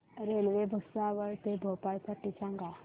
railway Bhusawal ते भोपाळ साठी सांगा